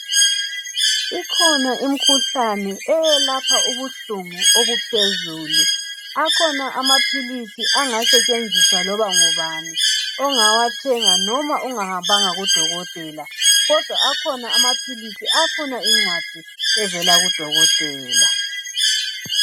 Ikhona imithi eyelapha ubuhlungu obuphezulu. Akhona amaphilisi ingasetshenziswa loma ngubani. Ongawathenga noma ungahambanga kodokotela . Kodwa akhona amapilisi afuna incwadi evela kudokotela.